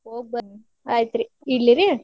ಹೋಗಿಬರ್ರಿ ಆಯಿತ್ರಿ ಇಡ್ಲಿರಿ.